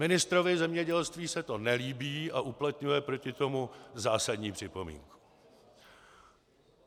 Ministrovi zemědělství se to nelíbí a uplatňuje proti tomu zásadní připomínku.